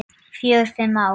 Fjögur, fimm ár.